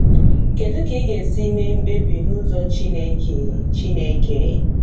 Kedu ka I Ga-esi Mee Mkpebi n’Ụzọ Chineke? Chineke?